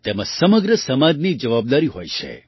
તેમાં સમગ્ર સમાજની જવાબદારી હોય છે